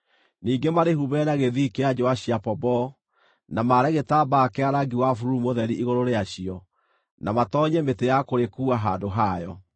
Ningĩ marĩhumbĩre na gĩthii kĩa njũũa cia pomboo, na maare gĩtambaya kĩa rangi wa bururu mũtheri igũrũ rĩacio, na matoonyie mĩtĩ ya kũrĩkuua handũ hayo.